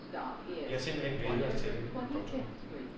Vi har simpelthen vænnet os til det. punktum